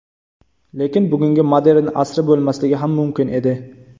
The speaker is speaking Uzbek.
Lekin bugungi modern asri bo‘lmasligi ham mumkin edi.